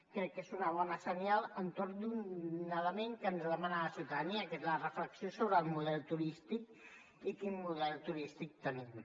crec que és un bon senyal entorn d’un element que ens demana la ciutadania que és la reflexió sobre el model turístic i quin model turístic tenim